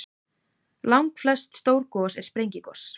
Langflest stór gos eru sprengigos.